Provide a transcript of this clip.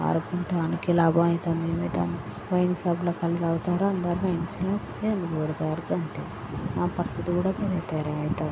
ఆడుకుంటానికి లాభం అవుతుంది. హోల్సేల్ లో కళ్ళు తాగుతారు అందరూ మంచిగా. లొల్లి పెడతారు అంతే. ఆ పరిస్థితి కూడా --